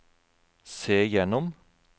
se gjennom